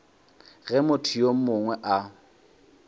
ge motho yo mongwe a